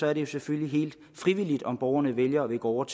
er det jo selvfølgelig helt frivilligt om borgerne vælger at gå over